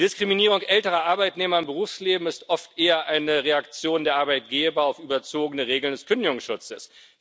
Die Diskriminierung älterer Arbeitnehmer im Berufsleben ist oft eher eine Reaktion der Arbeitgeber auf überzogene Regeln des Kündigungsschutzes.